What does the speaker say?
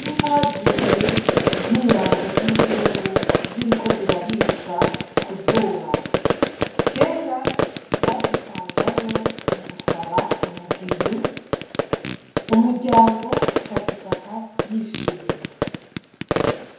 Inka zibi zinyambo zinzungu ziriko zirarisha kuzuba kera bazitangamwo mugusaba umugeni umuryango ukazifata yishimye